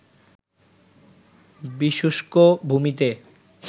বিশুষ্ক ভূমিতে